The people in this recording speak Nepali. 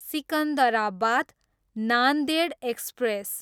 सिकन्दराबाद, नान्देड एक्सप्रेस